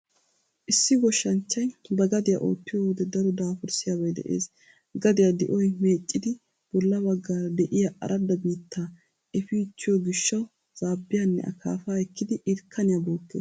Issi goshshanchchay ba gadiya oottiyo wode daro daafurssiyaabay de'ees. Gadiya di'oy meeccidi bolla baggaara de'iya aradda biittaa efiichchiyo gishshawu zaabbiyanne akaafaa ekkidi irkkaniya bookkees.